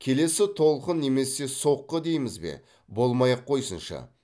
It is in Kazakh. келесі толқын немесе соққы дейміз бе болмай ақ қойсыншы